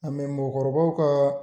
A mɛ mɔgɔkɔrɔbaw ka